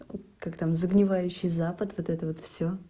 как там загнивающий запад вот это вот все